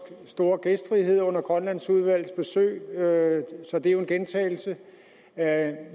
store gæstfrihed under grønlandsudvalgets besøg så det er jo en gentagelse af